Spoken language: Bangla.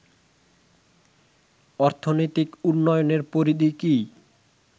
অর্থনৈতিক উন্নয়নের পরিধি কী